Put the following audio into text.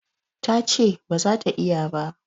Ta ce ba za ta iya ba.